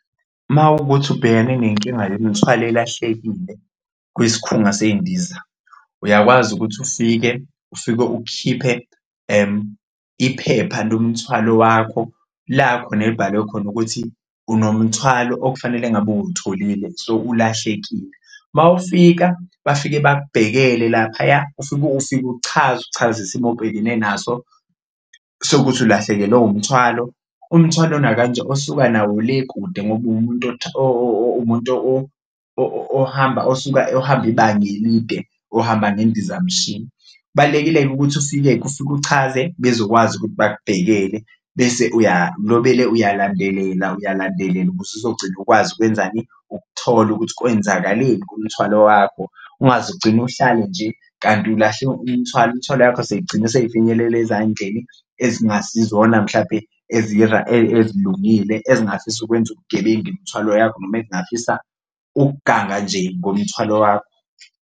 Mawukuthi ubhekane nenkinga yemuthwalo elahlekile kwisikhunga sey'ndiza uyakwazi ukuthi ufike ufike ukhiphe iphepha lomthwalo wakho, la khona elibhalwe khona ukuthi unomthwalo okufanele ngabe uwutholile so, ulahlekile. Uma ufika bafike bakubhekele laphaya ufike ufike uchaze, uchaze isimo obhekene naso sokuthi ulahlekelwe umthwalo, umthwalo nje osuka nawo le kude ngoba umuntu umuntu ohamba osuka ohamba ibanga elide ohamba ngendizamshini. Balulekile-ke ukuthi ufike-ke ufike uchaze bezokwazi ukuthi bakubhekele bese uyalobele uyalandelela uyalandelela ukuze uzogcina ukwazi ukwenzani? Ukuthola ukuthi kwenzakaleni ngomthwalo wakho ungaze ugcine uhlale nje kanti ulahle umthwalo, imthwalo yakho seyigcine seyifinyelela ezandleni ezingasizona mhlampe ezilungile ezingafisa ukwenza ubugebengu, imithwalo yakho noma ezingafisa ukuganga nje ngomthwalo wakho.